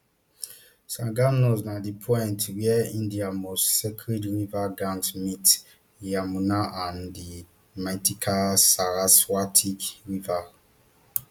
sangam nose na di point wia india most sacred river ganges meet yamuna and di mythical saraswati rivers